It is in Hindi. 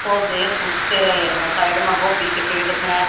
पौधे सूख से रहे है साइड में गोभी के पेड़ से।